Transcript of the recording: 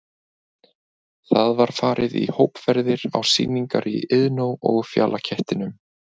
Það var farið í hópferðir á sýningar í Iðnó og Fjalakettinum.